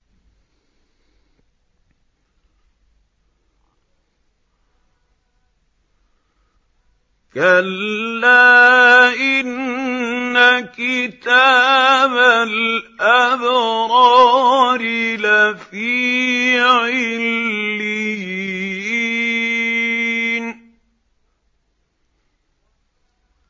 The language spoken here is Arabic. كَلَّا إِنَّ كِتَابَ الْأَبْرَارِ لَفِي عِلِّيِّينَ